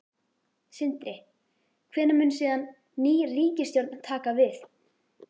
Sindri: Hvenær mun síðan ný ríkisstjórn taka við?